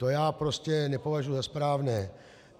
To já prostě nepovažuji za správné.